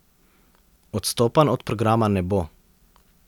Odstopanj od programa ne bo.